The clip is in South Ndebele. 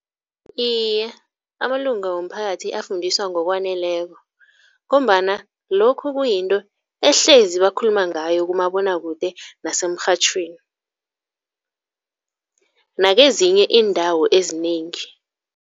Iye, amalunga womphakathi afundiswa ngokwaneleko ngombana lokhu kuyinto ehlezi bakhuluma ngayo kumabonakude nasemrhatjhweni, nakezinye iindawo ezinengi.